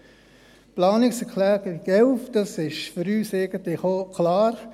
Die Planungserklärung 11 ist für uns eigentlich auch klar: